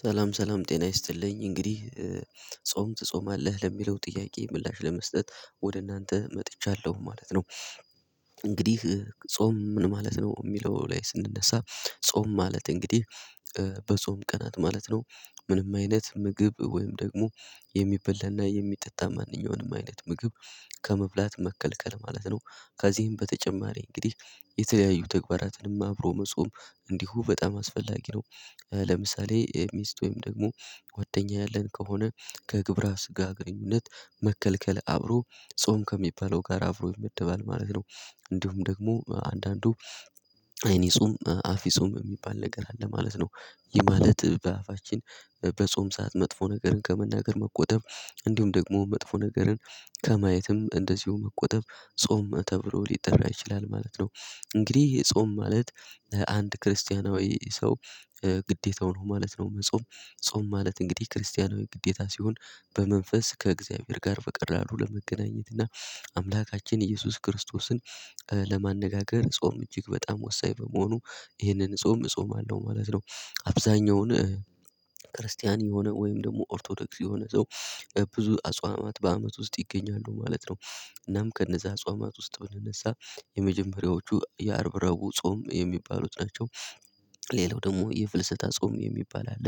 ሰላም ሰላም ጤና ይስጥልኝ እንግዲህ ጾም ትጾማለህ ለሚለው ጥያቄ ምላሽ ለመስጠት ወደ እናንተ መጥቻለሁ ማለት ነው። እንግዲህ ጾም ምን ማለት ነው የሚለው? ላይ ስንነሳ ጾም ማለት እንግዲህ በጾም ቀናት ማለት ነው። ምንም አይነት ምግብ ወይም ደግሞ የሚበላና የሚጠጣ ማንኛውንም አይነት ምግብ ከመብላት መከልከል ማለት ነው። ከዚህም በተጨማሪ እንግዲህ የተለያዩ ተግባራትንም አብሮ መጾም እንዲሁ በጣም አስፈላጊ ነው። ለምሳሌ ሚስት ወይም ደግሞ ወደኛ ያለን ከሆነ ከግብረ ስጋ ግንኙነት መከልከል አብሮ ጾም ከሚባለው ጋር አብሮ ይመደባል ማለት ነው። እንዲሁም ደግሞ አንዳንዱ አይን ይጹምም አፍ ይጹም የሚባል ነገር አለ ማለት ነው። ይህ ማለት በአፋችን በጾም ሰዓት መጥፎ ነገርን ከመናገር መቆጠብ እንዲሁም ደግሞ መጥፎ ነገርን ከማየትም እንደዚሁ መቆጠብ ጾም ተብሎ ሊጠራ ይችላል ማለት ነው። እንግዲህ የጾም ማለት አንድ ክርስቲያናዊ ሰው ግዴታው ነው ማለት ነው። መጾም ጾም ማለት እንግዲህ ክርስቲያናዊ ግዴታ ሲሆን በመንፈስ ከእግዚአብሔር ጋር በቀላሉ ለመገናኘት እና አምላካችን ኢየሱስ ክርስቶስን ለማነጋገር ጾም እጅግ በጣም ወሳኝ በመሆኑ ይህንን ጾም እጾማለው ማለት ነው። አብዛኛውን ክርስቲያን የሆነ ወይም ደግሞ ኦርቶዶክስ የሆነ ሰው ብዙ አጽዋማት በአመት ውስጥ ይገኛሉ ማለት ነው። እናም ከነዛ አጽዋማት ውስጥ ብንነሳ የአርብ ረእቡ ጾም የሚባሉት ናቸው። ሌላው ደግሞ የፍልሰታ ጾም የሚባል አለ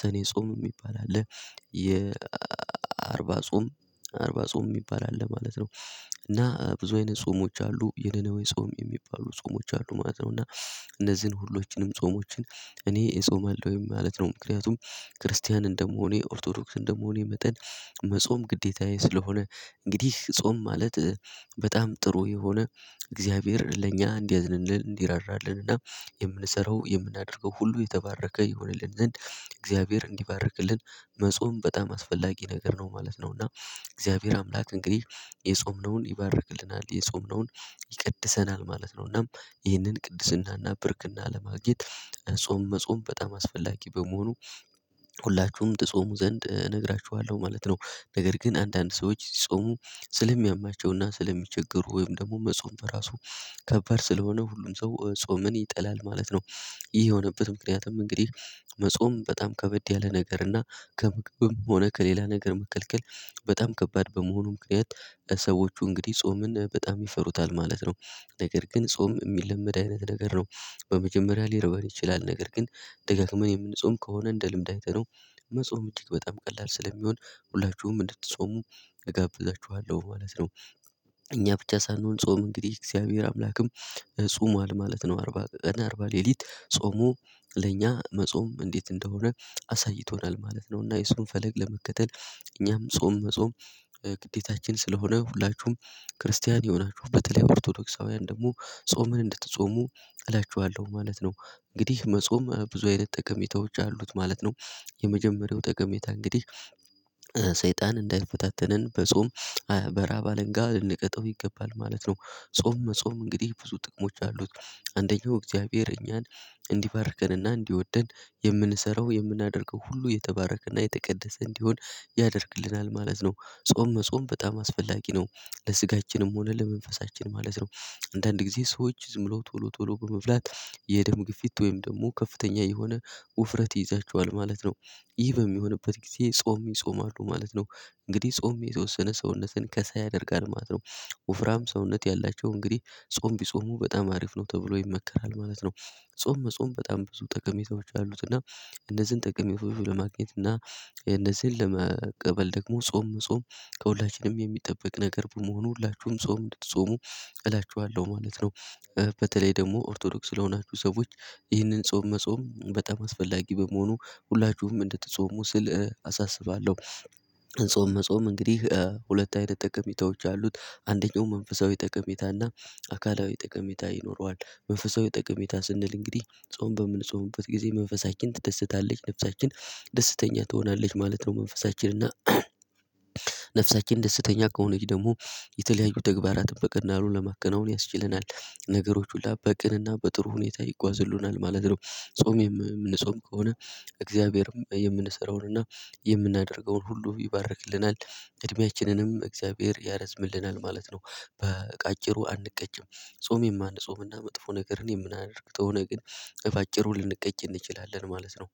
ሰኔ ጾም የሚባል አለ የአርባ ጾም አርባ ጾም የሚባል አለ ማለት ነው። እና ብዙ አይነት ጾሞች አሉ የነነዌ ጾም የሚባሉ ጾሞች አሉ ማለት ነው። እና እነዚህን ሁሎችንም ጾሞችን እኔ እጾምሃለሁ ወይም ማለት ነው ምክንያቱም ክርስቲያን እንደመሆኔ ኦርቶዶክስ እንደመሆኔ መጠን መጾም ግዴታዬ ስለሆነ። እንግዲህ ጾም ማለት በጣም ጥሩ የሆነ እግዚአብሔር ለእኛ እንዲያዝንልን እንዲራራልንና የምንሰራው የምናደርገው ሁሉ የተባረከ ይሆንልን ዘንድ እግዚአብሔር እንዲባርክልን መጾም በጣም አስፈላጊ ነገር ነው ማለት ነው። እና እግዚአብሔር አምላክ እንግዲህ የጾምነውን ይባርክልናል የጾምነውን ይቀድሰናል ማለት ነው። እናም ይህንን ቅድስናና ብርክና ለማግኘት ጾም መጾም በጣም አስፈላጊ በመሆኑ ሁላችሁም ትጾሙ ዘንድ እነግራችኋለሁ ማለት ነው። ነገር ግን አንዳንድ ሰዎች ጾሙ ስለሚያማቸውና ስለሚቸገሩ ወይም ደግሞ መጾም በራሱ ከባድ ስለሆነ ሁሉም ሰው ጾምን ይጠላል ማለት ነው። ይህ የሆነበት ምክንያቱም እንግዲህ መጾም በጣም ከበድ ያለ ነገር እና ከምግብም ሆነ ከሌላ ነገር መከልከል በጣም ከባድ በመሆኑ ምክንያት ለሰዎቹ እንግዲህ ጾምን በጣም ይፈሩታል ማለት ነው። ነገር ግን ጾም የሚለመድ አይነት ነገር ነው። በመጀመሪያ ሊርባን ይችላል ነገር ግን ደጋግመን የምንጾም ከሆነ እንደ ልምድ አይተነው መጾም እጅግ በጣም ቀላል ስለሆነ ሁላችሁም እንድትጾሙ እጋብዛችኋለሁ ማለት ነው። እኛ ብቻ ሳንሆን ጾም እንግዲህ እግዚአብሔር አምላክም ጾሟል ማለት ነው አርባ ቀን እና አርባ ሌሊት ጾሞ ለእኛ መጾም እንዴት እንደሆነ አሳይቶናል ማለት ነው። እና የሱን ፈለግ ለመከተል እኛም ጾም መጾም ግዴታችን ስለሆነ ሁላችሁም ክርስቲያን የሆናችሁ በተለይ ኦርቶዶክሳውያን ደግሞ ጾምን እንድትጾሙ እላችኋለሁ ማለት ነው። እንግዲህ መጾም ብዙ አይነት ጠቀሜታ አሉት ማለት ነው። የመጀመሪያው ጠቀሜታ እንግዲህ ሰይጣን እንዳይፈታተነን በጾም በረሃብ አለንጋ ልንቀጠው ይገባል ማለት ነው። ጾም መጾም እንግዲህ ብዙ ጥቅሞች አሉት። አንደኛው እግዚአብሔር እኛን እንዲባርከንና እንዲወደን የምንሰራው የምናደርገው ሁሉ የተባረከና የተቀደሰ እንዲሆን ያደርግልናል ማለት ነው ጾም መጾም በጣም አስፈላጊ ነው። ለስጋችንም ሆነ ለመንፈሳችን ማለት ነው። አንዳንድ ጊዜ ሰዎች ዝም ብሎ ቶሎ ቶሎ በመብላት የደም ግፊት ወይም ደግሞ ከፍተኛ የሆነ ውፍረት ይይዛቸዋል ማለት ነው። ይህ በሚሆንበት ጊዜ ጾም ይጾማሉ ማለት ነው። እንግዲህ ጾም የተወሰነ ሰውነትን ከሳ ያደርጋል ማለት ነው። ወፍራም ሰውነት ያላቸው እንግዲህ ጾም ቢጾሙ በጣም አሪፍ ነው ተብሎ ይመከራል ማለት ነው። ጾም መጾም በጣም ብዙ ጠቀሜታዎች አሉት እና እነዚህን ጠቀሜው ለማግኘት እና እነዚህን ለመቀበል ደግሞ ጾም ጾም ከሁላችንም የሚጠበቅ ነገር በመሆኑ ሁላችሁም ጾም እንድትጾሙ እላችኋለሁ ማለት ነው። በተለይ ደግሞ ኦርቶዶክስ ስለሆናችሁ ሰዎች ይህንን ጾም መጾም በጣም አስፈላጊ በመሆኑ ሁላችሁም እንድትጾሙ ስል አሳስባለሁ። ጾም መጾም እንግዲህ ሁለት አይነት ጠቀሜታዎች አሉት አንደኛው መንፈሳዊ ጠቀሜታና አካላዊ ጠቀሜታ ይኖረዋል። መንፈሳዊ ጠቀሜታ ስንል እንግዲህ ጾም በምንጾምበት ጊዜ መንፈሳችን ትደሰታለች ነፍሳችን ደስተኛ ትሆናለች ማለት ነው መንፈሳችን እና ነፍሳችን ደስተኛ ከሆነች ደግሞ የተለያዩ ተግባራትን በቅንነት ለማከናወን ያስችለናል። ነገሮች ሁሉ በቅንና በጥሩ ሁኔታ ይጓዙልናል ማለት ነው። ጾም የምንጾም ከሆነ እግዚአብሔር የምንሰራውንና የምናደርገውን ሁሉ ይባርክልናል እድሜያችንንም እግዚአብሔር ያረዝምልናል ማለት ነው። በአጭሩ አንቀጭም ጾሜም የማንጾምና መጥፎ ነገርን የምናደርግበት ነገር ግን በአጭሩን ልንቀጭ እንችላለን ማለት ነው